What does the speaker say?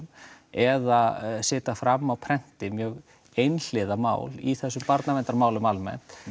eða setja fram á prenti mjög einhliða mál í þessum barnaverndarmálum almennt